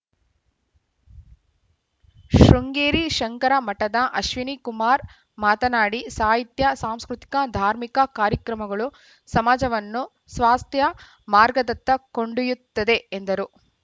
ಶೃಂಗೇರಿ ಶಂಕರಮಠದ ಅಶ್ವಿನಿಕುಮಾರ್‌ ಮಾತನಾಡಿ ಸಾಹಿತ್ಯ ಸಾಂಸ್ಕೃತಿಕ ಧಾರ್ಮಿಕ ಕಾರ್ಯಕ್ರಮಗಳು ಸಮಾಜವನ್ನು ಸ್ವಾಸ್ಥ್ಯ ಮಾರ್ಗದತ್ತ ಕೊಂಡೊಯ್ಯುತ್ತದೆ ಎಂದರು